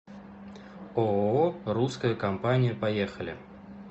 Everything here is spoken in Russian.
ооо русская компания поехали